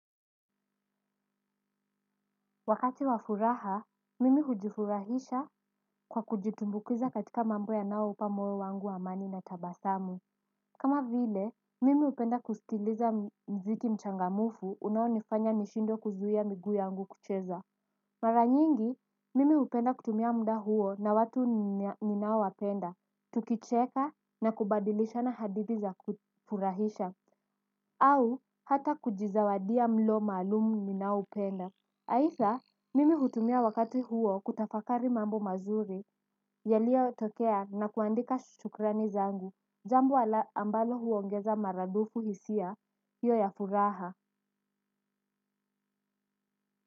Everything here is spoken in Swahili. Wakati wa furaha, mimi hujifurahisha kwa kujitumbukiza katika mambo yanayo upa moyo wangu amani na tabasamu kama vile, mimi hupenda kusikiliza muziki mchangamufu unaonifanya nishindwe kuzuia miguu yangu kucheza mara nyingi, mimi hupenda kutumia muda huo na watu ninaowapenda, tukicheka na kubadilishana hadithi za kufurahisha au, hata kujizawadia mlo maalum ninaoupenda. Aidha, mimi hutumia wakati huo kutafakari mambo mazuri, yaliyotokea na kuandika shukrani zangu, jambo ambalo huongeza maradufu hisia, hiyo ya furaha.